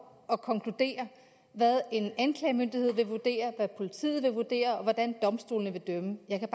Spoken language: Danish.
og konkludere hvad en anklagemyndighed vil vurdere hvad politiet vil vurdere og hvordan domstolene vil dømme jeg kan